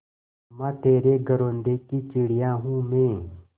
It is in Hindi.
अम्मा तेरे घरौंदे की चिड़िया हूँ मैं